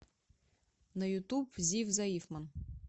на ютуб зив заифман